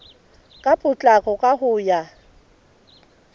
ka potlako ka ho ya